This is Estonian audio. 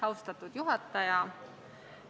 Austatud juhataja!